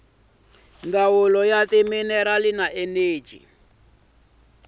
ndzawulo ya timinerali na eneji